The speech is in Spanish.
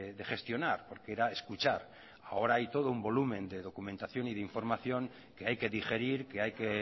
de gestionar porque era escuchar ahora hay todo un volumen de documentación y de información que hay que digerir que hay que